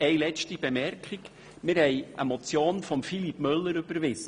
Noch eine letzte Bemerkung: Wir haben eine Motion von Philippe Müller überweisen.